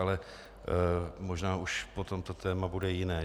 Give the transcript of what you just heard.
Ale možná už potom to téma bude jiné.